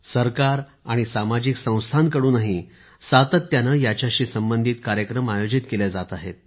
सरकार आणि सामाजिक संस्थांकडूनही सातत्याने याच्याशी संबंधित कार्यक्रम आयोजित केले जात आहेत